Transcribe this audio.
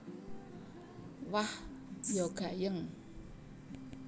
Wah ya gayeng